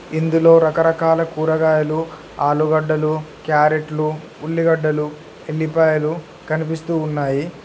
ఇందులో రకరకాల కూరగాయలు ఆలుగడ్డలు క్యారెట్లు ఉల్లిగడ్డలు ఎల్లిపాయలు కనిపిస్తూ ఉన్నాయి.